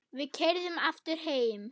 Við keyrðum aftur heim.